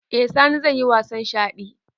Eh sani zaiyi wasan shaɗi